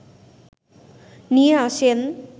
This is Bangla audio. নিয়ে আসেন